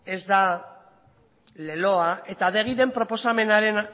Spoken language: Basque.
ez da leloa eta adegiren proposamenaren